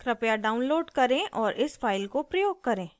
कृपया डाउनलोड करें और इस फाइल को प्रयोग करें